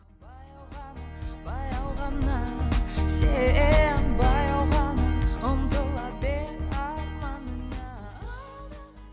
баяу ғана баяу ғана сен баяу ғана ұмтыла бер арманыңа